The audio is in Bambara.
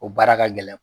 O baara ka gɛlɛn